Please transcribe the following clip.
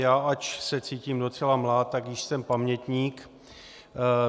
Já, ač se cítím docela mlád, tak již jsem pamětník.